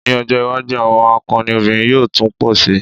Ní ọjọ́́ iwájú àwọn akọni obìnrin yóò tún pọ̀ si.